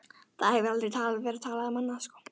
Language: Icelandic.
Það hefur aldrei verið talað um annað!